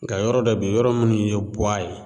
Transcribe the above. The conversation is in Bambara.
Nka yɔrɔ dɔ be ye yɔrɔ munnu ye buwa ye